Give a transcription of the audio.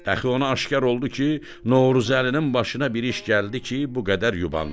Dəxi ona aşkar oldu ki, Novruzəlinin başına bir iş gəldi ki, bu qədər yubandı.